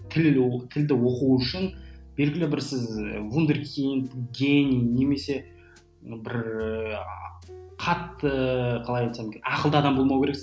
тіл ол тілді оқу үшін белгілі бір сіз вундеркинг гений немесе бір ііі қатты қалай айтсам екен ақылды адам болмау керексің